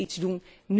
We moeten iets doen.